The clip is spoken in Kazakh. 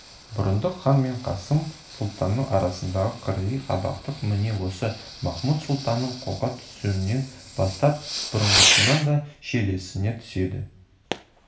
бұрындық хан мен қасым сұлтанның арасындағы қырғи қабақтық міне осы махмуд-сұлтанның қолға түсуінен бастап бұрынғысынан да шиеленісе түседі